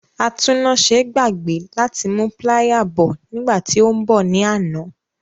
Atúnnáse gbàgbé láti mú píláyà bọ̀ nígbà tí ó ń bọ̀ ní àná.